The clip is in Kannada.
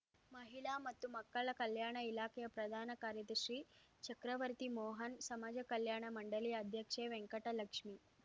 ಮಹಿಳಾ ಮತ್ತು ಮಕ್ಕಳ ಕಲ್ಯಾಣ ಇಲಾಖೆಯ ಪ್ರಧಾನ ಕಾರ್ಯದರ್ಶಿ ಚಕ್ರವರ್ತಿ ಮೋಹನ್ ಸಮಾಜ ಕಲ್ಯಾಣ ಮಂಡಳಿ ಅಧ್ಯಕ್ಷೆ ವೆಂಕಟಲಕ್ಷ್ಮಿ